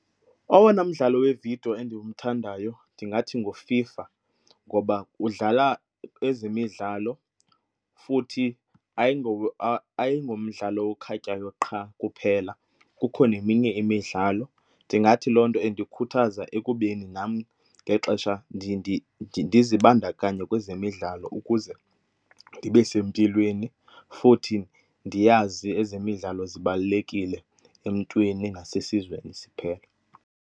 Owona mdlalo wevidiyo endimthandayo ndingathi nguFIFA ngoba udlala ezemidlalo futhi ayingomdlalo okhatywayo qha kuphela kukho neminye imidlalo. Ndingathi loo nto indikhuthaza ekubeni nam ngexesha ndiye ndizibandakanye kwezemidlalo ukuze ndibe sempilweni futhi ndiyazi ezemidlalo zibalulekile emntwini nasesizweni siphela.